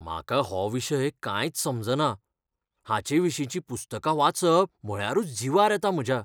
म्हाका हो विशय कांयच समजना, हाचेविशींचीं पुस्तकां वाचप म्हळ्यारूच जीवार येता म्हज्या.